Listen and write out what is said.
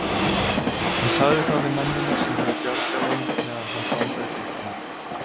Hann sagði það við mennina sem höfðu bjargað þeim meðan hann blandaði drykkina.